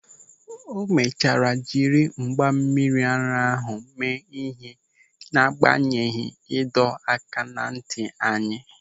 O mechara jiri mgba mmiri ara ahụ mee ịhe n'agbanyeghị ịdọaka n'ntị anyị.